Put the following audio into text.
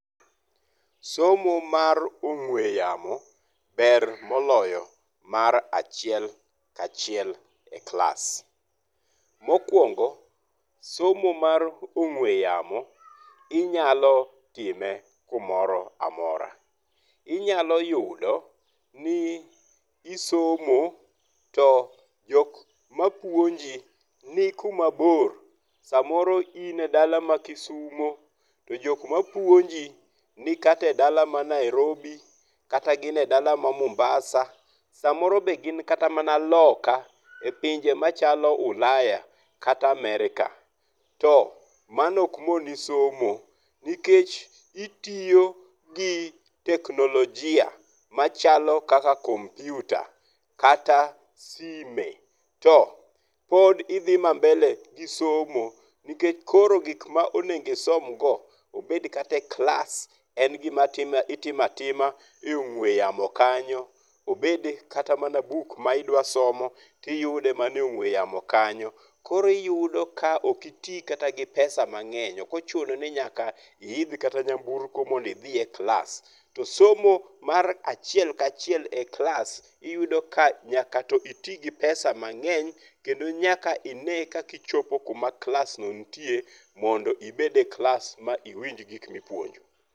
Somo mar ong'we yamo ber moloyo mar achiel kachiel e klas. Mokuongo, somo mar ong'we yamo inyalo time kumoro amora. Inyalo yudo ni isomo to jok mapuonji ni kumabor. Samoro in e dala ma Kisumo, to jok mapuonji, nikata e dala ma Nairobi, kata gin e dala ma Mombasa, samoro be gin kata mana loka, epinje machalo Ulaya, kata America. To mano ok moni somo, nikech gitiyo gi teknolojia machalo kaka kompyuta kata sime to pod idhi ma mbele gi somo. Nikech koro gik ma onego isom go, obed kata e klas, en gima itimo atima e ong'we yamo kanyo. Obed kata mana buk ma idwa somo, tiyude mana e ong'we yamo kanyo. Koro iyudo ka ok iti kata mana gi pesa mang'eny. Ok ochuno ni nyaka iidh kata mana nyamburko mondo idhi e klas. To somo mar achiel kachiel e klas, iyudo ka nyaka to iti gi pesa cs] mang'eny kendo nyaka ine kaka ichopo kuma klas no nitie mondo ibed e klas ma iwinj gik mipuonjo.